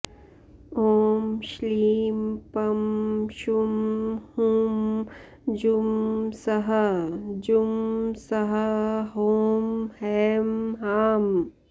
ॐ श्लीं पं शुं हुं जुं सः जुं सः हौं हैं हां